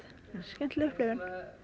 skemmtileg upplifun